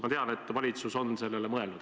Ma tean, et valitsus on sellele mõelnud.